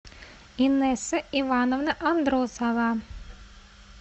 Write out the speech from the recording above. инесса ивановна андросова